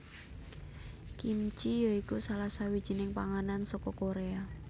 Kimchi ya iku salah sawijining panganan saka Koréa